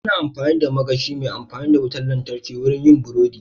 Ana amfani da magashi mai amfani da wutar lantarki wurin yin burodi.